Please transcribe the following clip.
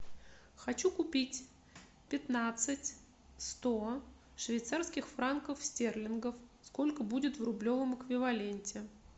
хочу купить пятнадцать сто швейцарских франков стерлингов сколько будет в рублевом эквиваленте